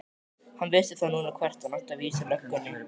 Hann vissi þá núna hvert hann átti að vísa löggunni!